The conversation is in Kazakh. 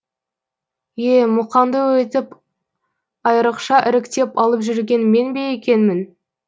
е мұқаңды өйтіп айрықша іріктеп алып жүрген мен бе екенмін